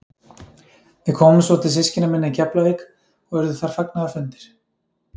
Við komum svo til systkina minna í Keflavík og urðu þar fagnaðarfundir.